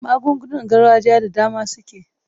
Magungunar gargajiya da dama suke.